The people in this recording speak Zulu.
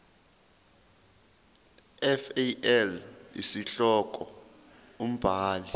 fal isihloko umbhali